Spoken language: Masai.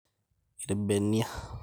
Irr`benia